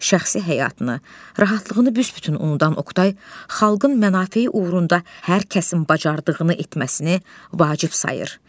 Şəxsi həyatını, rahatlığını büs-bütün unudan Oqtay, xalqın mənafeyi uğrunda hər kəsin bacardığını etməsini vacib sayır.